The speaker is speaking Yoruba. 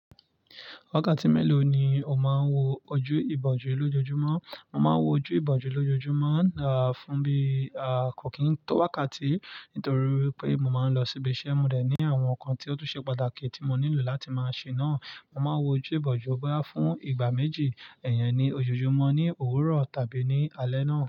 Wákàtí mélòó ni o máa ń wo ojú ìbòjú lójoojúmọ́? Mo máa ń wo ojú ìbòjú lójoojúmọ́, fún bí, kò kín tó wákàtí, nítorí wipé mo máa ń lọ síbi iṣẹ́, mo dẹ̀ ní àwọn nǹkan tí ó tún ṣe pàtàkì tí mo nílò láti máa ṣe náà. Mo máa ń wo ojú ìbòjú boyá fún ìgbà méjì, ẹ̀yẹ́n ni ójoojúmọ́ ní òwúrọ̀ tàbí ní alẹ́ náà.